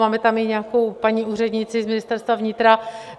Máme tam i nějakou paní úřednici z Ministerstva vnitra.